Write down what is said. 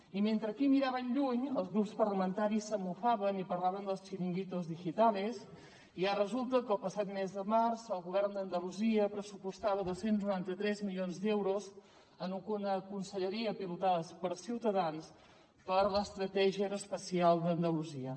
i mentre aquí miràvem lluny els grups parlamentaris se’n mofaven i parlaven dels chiringuitos digitales i ara resulta que el passat mes de març el govern d’andalusia pressupostava dos cents i noranta tres milions d’euros en una conselleria pilotada per ciutadans per a l’estratègia aeroespacial d’andalusia